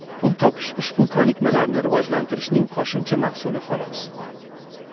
Pul topish ushbu ko‘nikmalarni rivojlantirishning qo‘shimcha mahsuli xolos.